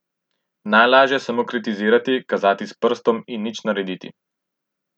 Najlažje je samo kritizirati, kazati s prstom in nič narediti.